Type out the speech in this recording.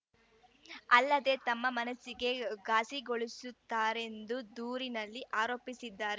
ಅಲ್ಲದೆ ತಮ್ಮ ಮನಸ್ಸಿಗೆ ಘಾಸಿಗೊಳಿಸುತ್ತಾರೆಂದು ದೂರಿನಲ್ಲಿ ಆರೋಪಿಸಿದ್ದಾರೆ